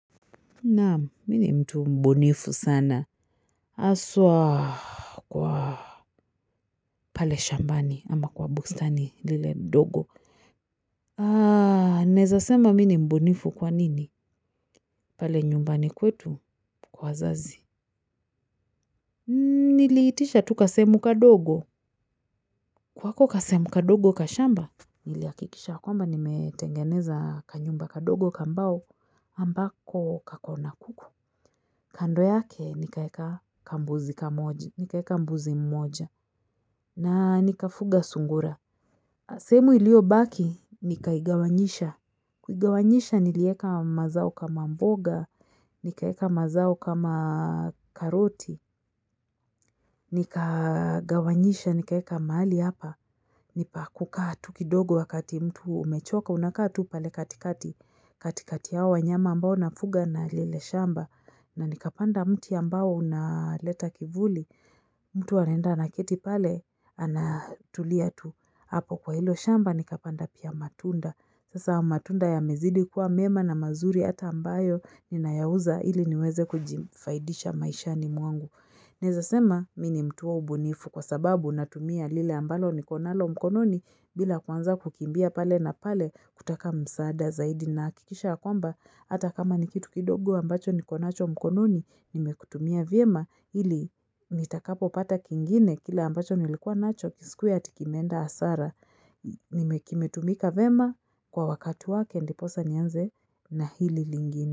Naam mimi ni mtu mbunifu sana haswa kwa pale shambani ama kwa bustan lile mdogo naweza sema mimi ni mbunifu kwa nini pale nyumbani kwetu kwa wazazi Niliitisha tu kasehemu kadogo kwa hako kasehemu kadogo ka shamba Nilihakikisha kwamba nimetengeneza kanyumba kadogo kambao ambako kakona kuku kando yake nikaweka kambuzi kamoja nikaweka mbuzi mmoja na nikafuga sungura sehemu iliyo baki nikaigawanyisha Kuigawanyisha nilieka mazao kama mboga Nikaweka mazao kama karoti Nikagawanyisha nikaweka mahali hapa Nipakukaa tu kidogo wakati mtu umechoka Unakaa tu pale katikati katikati ya hawa wanyama ambao nafuga na lile shamba na nikapanda mti ambao unaleta kivuli mtu anaenda anaketi pale anatulia tu hapo kwa hilo shamba nikapanda pia matunda sasa matunda yamezidi kuwa mema na mazuri hata ambayo ninayauza ili niweze kujifaidisha maishani mwangu neweza sema mimi ni mtu wa ubunifu kwa sababu natumia lile ambalo niko nalo mkononi bila kwanza kukimbia pale na pale kutaka msaada zaidi nahakikisha kwamba hata kama ni kitu kidogo ambacho niko nacho mkononi nimekitumia vyema ili nitakapo pata kingine kila ambacho nilikuwa nacho kisikuwe eti kimeenda hasara kimetumika vyema kwa wakati wake ndiposa nianze na hili lingine.